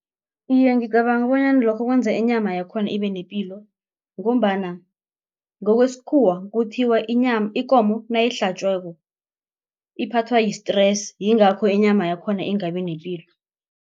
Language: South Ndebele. Iye, ngicabanga bonyana lokho kwenza inyama yakhona ibe nepilo ngombana ngokwesikhuwa kuthiwa ikomo nayihlatjiweko iphathwa yi-stress yingakho inyama yakhona ingabi nepilo.